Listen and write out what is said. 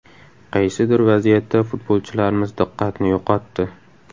Qaysidir vaziyatda futbolchilarimiz diqqatni yo‘qotdi.